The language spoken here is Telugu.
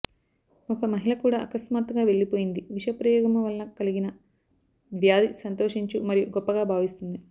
ఒక మహిళ కూడా అకస్మాత్తుగా వెళ్ళిపోయింది విష ప్రయోగము వలన కలిగిన వ్యాధి సంతోషించు మరియు గొప్పగా భావిస్తుంది